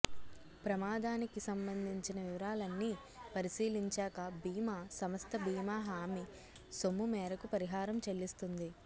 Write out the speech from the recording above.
ప్రమాదానికి సంబంధించిన వివరాలన్నీ పరిశీలించాక బీమా సంస్థ బీమా హామీ సొమ్ము మేరకు పరిహారం చెల్లిస్తుంది